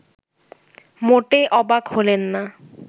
মোটে অবাক হলেন না